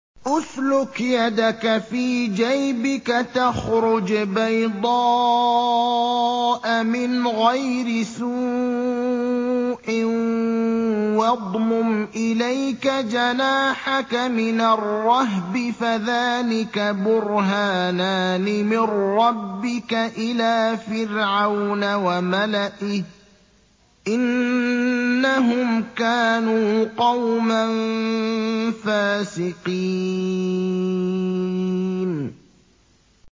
اسْلُكْ يَدَكَ فِي جَيْبِكَ تَخْرُجْ بَيْضَاءَ مِنْ غَيْرِ سُوءٍ وَاضْمُمْ إِلَيْكَ جَنَاحَكَ مِنَ الرَّهْبِ ۖ فَذَانِكَ بُرْهَانَانِ مِن رَّبِّكَ إِلَىٰ فِرْعَوْنَ وَمَلَئِهِ ۚ إِنَّهُمْ كَانُوا قَوْمًا فَاسِقِينَ